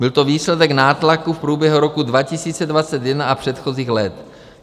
Byl to výsledek nátlaku v průběhu roku 2021 a předchozích let.